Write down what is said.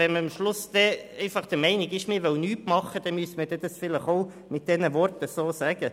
Wenn man letztlich der Meinung ist, man wolle nichts tun, müsste man es vielleicht mit diesen Worten sagen.